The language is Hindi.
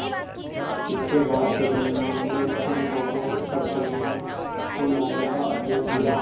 इसके बाद तेलानी राम ने सैनिकों को सब परियों को लाने का आदेश दिया